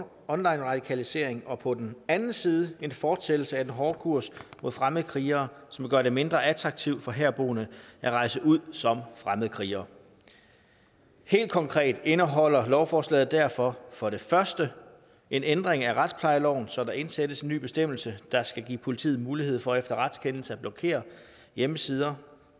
online radikalisering og på den anden side en fortsættelse af den hårde kurs mod fremmede krigere som vil gøre det mindre attraktivt for herboende at rejse ud som fremmede krigere helt konkret indeholder lovforslaget derfor for det første en ændring af retsplejeloven så der indsættes en ny bestemmelse der skal give politiet mulighed for efter en retskendelse at blokere hjemmesider